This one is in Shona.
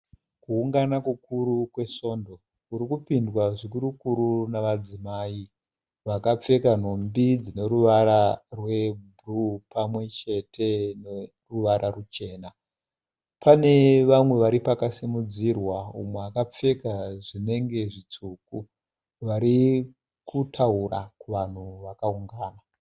Kuungana kukuru kwesvondo kurikupindwa zvikurukuru nemadzimayi vakapfeka nhumbi dzine ruvara rwebruu pamwechete neruvara ruchena. Pane vamwe vari pakasimudzirwa mumwe akapfeka zvinenge zvitsvuku varikutaura kuvanhu vakaungana.